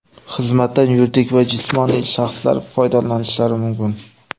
Xizmatdan yuridik va jismoniy shaxslar foydalanishlari mumkin.